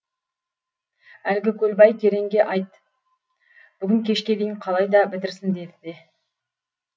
әлгі көлбай кереңге айт бүгін кешке дейін қалайда бітірсін деді де